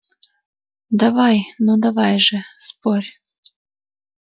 давай ну давай же спорь